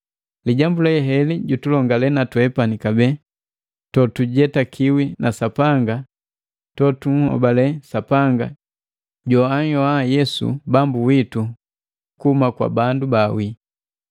Lijambu le heli lutulongale natwepani kabee totujetakiwi na Sapanga totunhobale Sapanga joanhyoa Yesu Bambu witu kuhuma kwa bandu baawii.